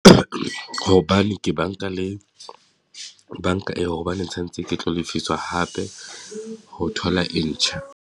Hobane ke banka le banka eo, hobaneng tshwanetse ke tlo lefiswa hape ho thola e ntjha.